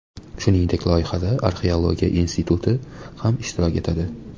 Shuningdek, loyihada Arxeologiya instituti ham ishtirok etadi.